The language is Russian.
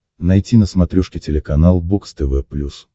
найти на смотрешке телеканал бокс тв плюс